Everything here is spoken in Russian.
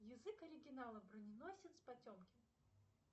язык оригинала броненосец потемкин